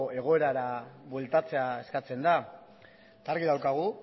egoerara bueltatzea eskatzen da eta argi daukagu